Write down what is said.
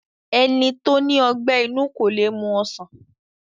Ẹni tó ní ọgbẹ́ inú kó le mu ọsàn